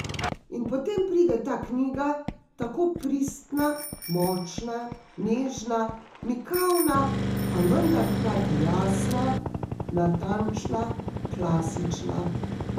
In potem pride ta knjiga, tako pristna, močna, nežna, mikavna, a vendar hkrati jasna, natančna, klasična ...